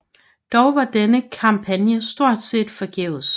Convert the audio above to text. Dog var denne kampagne stort set forgæves